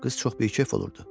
Qız çox bikef olurdu.